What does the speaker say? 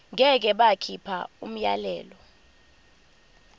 ngeke bakhipha umyalelo